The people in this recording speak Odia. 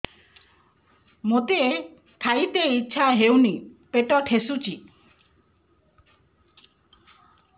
ମୋତେ ଖାଇତେ ଇଚ୍ଛା ହଉନି ପେଟ ଠେସୁଛି